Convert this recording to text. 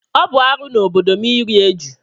Ọ bụ arụ n'obodo m iri ejù.